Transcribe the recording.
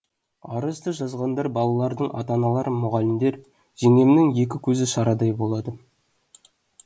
арызды жазғандар балалардың ата аналары мұғалімдер жеңгемнің екі көзі шарадай болады